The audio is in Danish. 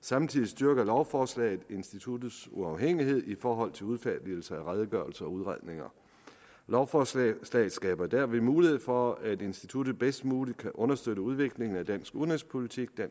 samtidig styrker lovforslaget instituttets uafhængighed i forhold til udfærdigelse af redegørelser og udredninger lovforslaget skaber derved mulighed for at instituttet bedst muligt kan understøtte udviklingen af dansk udenrigspolitik